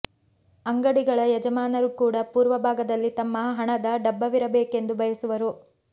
ಅಂಗಡಿಗಳ ಯಜಮಾನರು ಕೂಡ ಪೂರ್ವ ಭಾಗದಲ್ಲಿ ತಮ್ಮ ಹಣದ ಡಬ್ಬವಿರಬೇಕೆಂದು ಬಯಸುವರು